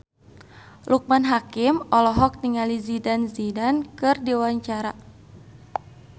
Loekman Hakim olohok ningali Zidane Zidane keur diwawancara